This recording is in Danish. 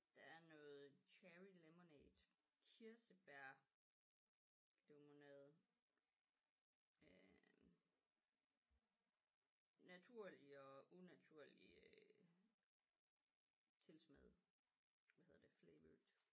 Der er noget cherry lemonade kirsebær lemonade øh naturlig og unaturlig øh tilsmagt hvad hedder det flavored